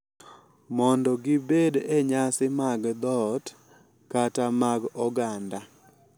mondo gibed e nyasi mag dhoot kata mag oganda .